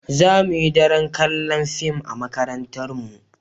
Za mu yi daren kalla'n fim a'makarantan mu.